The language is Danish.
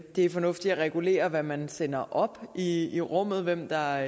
er fornuftigt at regulere hvad man sender op i i rummet hvem der